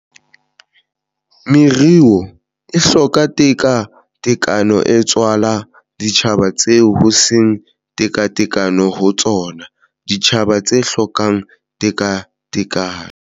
Meruo e hlokang tekatekano e tswala ditjhaba tseo ho seng tekatekano ho tsona, ditjhaba tse hlokang tekatekano